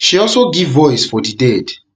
she also give voice for di dead